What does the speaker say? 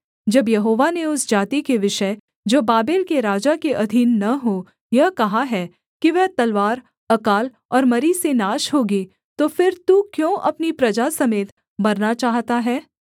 जब यहोवा ने उस जाति के विषय जो बाबेल के राजा के अधीन न हो यह कहा है कि वह तलवार अकाल और मरी से नाश होगी तो फिर तू क्यों अपनी प्रजा समेत मरना चाहता है